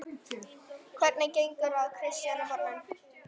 Hvernig gengur að kristna börnin?